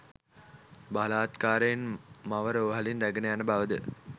බලහත්කාරයෙන් මව රෝහලින් රැගෙන යන බවද